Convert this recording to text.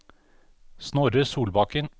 Snorre Solbakken